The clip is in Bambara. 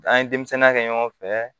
An ye denmisɛnninya kɛ ɲɔgɔn fɛ